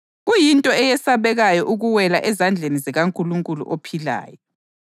Owawalayo umthetho kaMosi wafa kungela sihawu ngobufakazi babafakazi ababili kumbe abathathu.